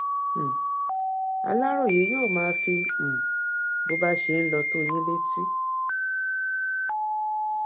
um aláròyé yóò máa fi um bó bá ṣe ń lọ sí tó yín létí